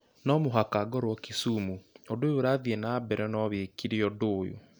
No mũhaka ngorũo kisumu ũndũ ũyũ ũrathiĩ na mbere no wĩkĩre ũndũ ũyũ